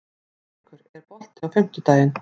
Þorleikur, er bolti á fimmtudaginn?